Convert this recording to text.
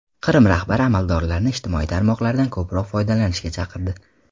Qrim rahbari amaldorlarni ijtimoiy tarmoqlardan ko‘proq foydalanishga chaqirdi.